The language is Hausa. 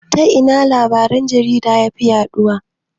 Ta ina labaran jarida yafi yaɗuwa?